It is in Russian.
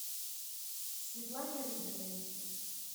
светлане рыбиной